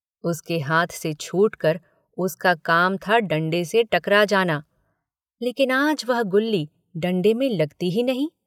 उसके हाथ से छुटकर उसका काम था डण्डे से टकरा जाना लेकिन आज वह गुल्ली डण्डे में लगती ही नहीं।